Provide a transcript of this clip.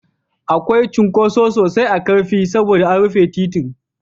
Akwai cunkoso sosai a Ƙarfi saboda an rufe titin.